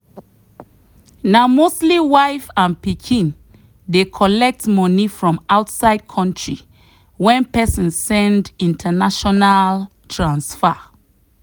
na mostly wife and pikin dey collect money from outside country when person send international transfer.